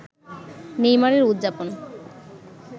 নেইমারের উদযাপন